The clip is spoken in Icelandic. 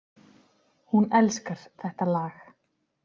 Hún elskar þetta lag!